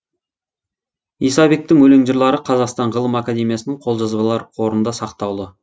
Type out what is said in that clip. исабектің өлең жырлары қазақстан ғылым академиясының қолжазбалар қорында сақтаулы